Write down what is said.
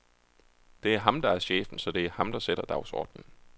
Det er ham, der er chefen, så det er ham der sætter dagsordnen.